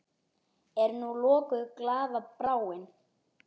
Er nú lokuð glaða bráin?